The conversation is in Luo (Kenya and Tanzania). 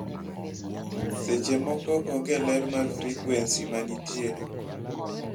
seche moko onge ler mar frequency manitiere